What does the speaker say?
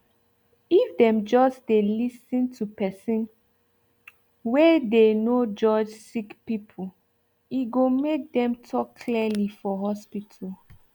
if them just dey list to personwey dey no judge sick peoplee go make dem talk clearly for hospital